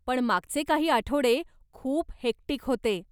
पण मागचे काही आठवडे खूप हेक्टिक होते.